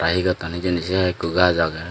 aa hi gotton hijeni sei hai ekko gaz agey.